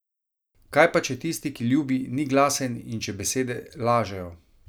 Kaj pa če tisti, ki ljubi, ni glasen in če besede lažejo?